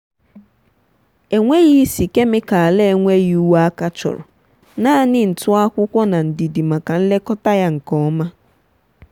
enwegh isi kemịkalụ enweghị uwe aka achọrọ. naanị ntụ akwụkwọ na ndidi maka nlekọta ya nke oma.